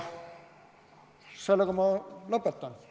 Sellega ma lõpetan.